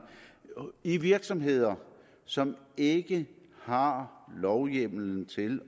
i virksomheder som ikke har lovhjemmel til